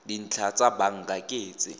dintlha tsa banka ke tse